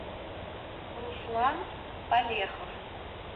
руслан палехов